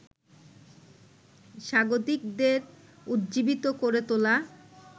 স্বাগতিকদের উজ্জীবিত করে তোলা